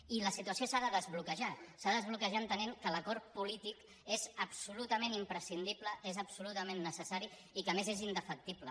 i la situació s’ha de desbloquejar s’ha de desbloquejar entenent que l’acord polític és absolutament imprescindible és absolutament necessari i que a més és indefectible